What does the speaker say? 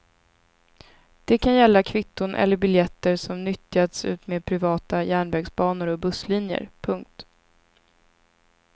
Det kan gälla kvitton eller biljetter som nyttjats utmed privata järnvägsbanor och busslinjer. punkt